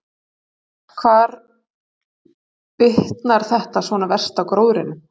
Helga: Hvar bitnar þetta svona verst á gróðrinum?